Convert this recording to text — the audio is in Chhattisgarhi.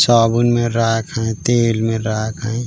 चावल मे राख है तेल मे राख है।